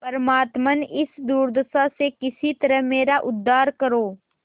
परमात्मन इस दुर्दशा से किसी तरह मेरा उद्धार करो